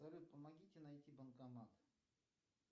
салют помогите найти банкомат